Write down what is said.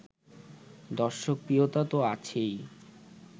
দর্শকপ্রিয়তা তো আছেই